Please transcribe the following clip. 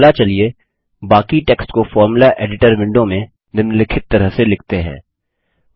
अगला चलिए बाकी टेक्स्ट को फोर्मुला एडिटर विंडो में निम्लिखित तरह से लिखते हैं